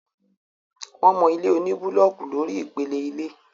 wọ́n mọ ilé oní búlọọkù lórí ìpele ilé